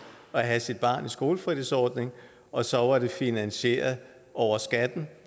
at have sit barn i skolefritidsordning og så var det finansieret over skatten